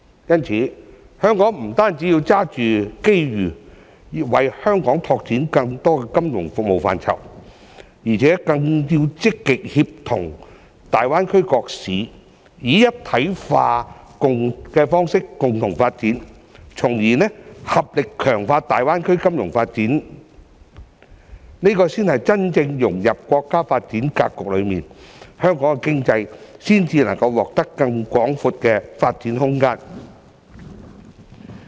因此，香港不止要抓住機遇，為香港拓展更多金融服務範疇，更要積極協同大灣區各市，以"一體化"方式共同發展，從而合力強化大灣區金融發展，這才是真正融入國家發展格局中，香港經濟才能獲得更廣闊的發展空間。